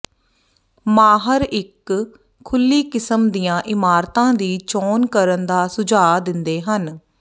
ਮਾਹਰ ਇਕ ਖੁੱਲੀ ਕਿਸਮ ਦੀਆਂ ਇਮਾਰਤਾਂ ਦੀ ਚੋਣ ਕਰਨ ਦਾ ਸੁਝਾਅ ਦਿੰਦੇ ਹਨ